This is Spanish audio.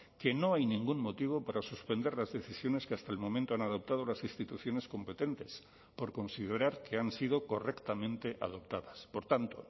que no hay ningún motivo para suspender las decisiones que hasta el momento han adoptado las instituciones competentes por considerar que han sido correctamente adoptadas por tanto